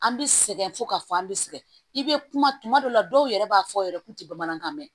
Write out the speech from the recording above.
An bɛ sɛgɛn fo k'a fɔ an bɛ sɛgɛn i bɛ kuma tuma dɔw la dɔw yɛrɛ b'a fɔ yɛrɛ k'u tɛ bamanankan mɛn